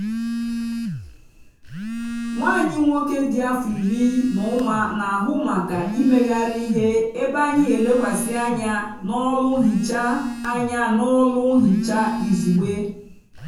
nwa anyị nwoke dị afọ iri na ụma na-ahụ maka imegharị ihe ebe anyị n'elekwasị anya n'ọlụ nhicha anya n'ọlụ nhicha izugbe.